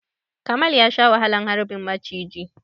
Kamal ya sha wahalar harbin muciji.